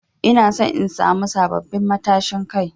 Ina son in samu sabbabin matashin Kai.